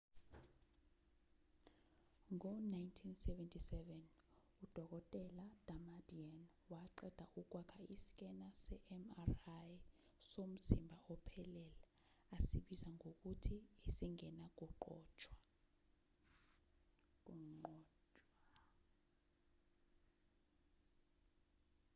ngo-1977 udkt damadian waqeda ukwakha iskena se-mri somzimba ophelele asibiza ngokuthi esingenakunqotshwa